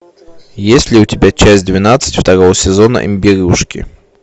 есть ли у тебя часть двенадцать второго сезона имбирюшки